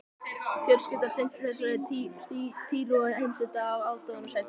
Fjölskyldan sinnti þessari týru á heimsenda af aðdáunarverðri seiglu.